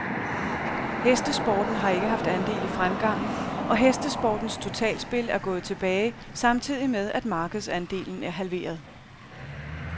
Hestesporten har ikke haft andel i fremgangen, og hestesportens totalspil er gået tilbage samtidig med, at markedsandelen er halveret.